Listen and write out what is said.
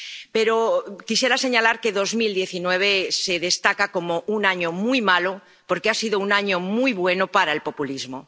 Pero quisiera señalar que 2019 se destaca como un año muy malo, porque ha sido un año muy bueno para el populismo